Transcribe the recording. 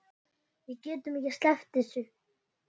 Við getum ekki sleppt þessu.